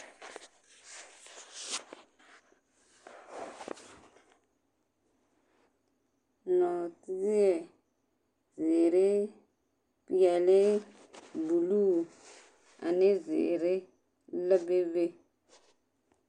Nɔɔteɛ zeere, peɛle, buluu ane zeere la bebe.